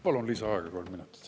Palun lisaaega kolm minutit.